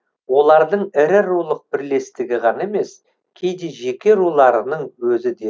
олардың ірі рулық бірлестігі ғана емес кейде жеке руларының өзі де